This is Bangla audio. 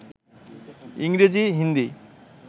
ইংরেজি, হিন্দি